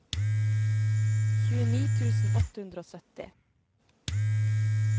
tjueni tusen åtte hundre og sytti